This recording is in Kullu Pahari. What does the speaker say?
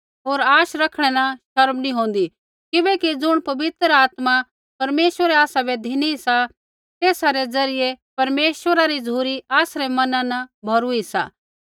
होर आश रखणै न शर्म नी होंदी किबैकि ज़ुण पवित्र आत्मा परमेश्वरै आसाबै धिनी सा तेसा री ज़रियै परमेश्वरा री झ़ुरी आसरै मना न भौरुई सा